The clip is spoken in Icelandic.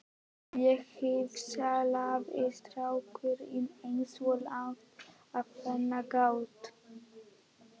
Þá hvíslaði strákurinn eins og lágt og hann gat